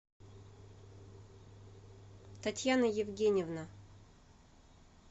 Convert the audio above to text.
татьяна евгеньевна